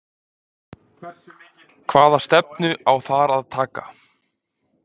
Hvaða stefnu á þar að taka?